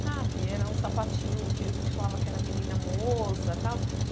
Sabe, era um sapatinho que a gente falava que era menina-moça tal.